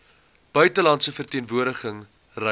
buitelandse verteenwoordiging reise